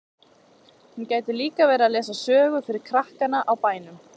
Hún gæti líka verið að lesa sögu fyrir krakkana á bænum.